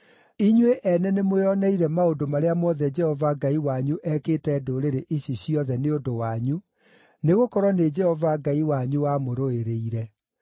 Inyuĩ ene nĩmwĩoneire maũndũ marĩa mothe Jehova Ngai wanyu ekĩte ndũrĩrĩ ici ciothe Nĩ ũndũ wanyu, nĩgũkorwo nĩ Jehova Ngai wanyu wamũrũĩrĩire.